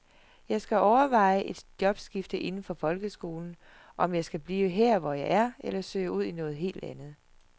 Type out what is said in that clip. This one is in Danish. Jeg skal overveje et jobskifte inden for folkeskolen, om jeg skal blive hvor jeg er, eller søge ud i noget helt andet.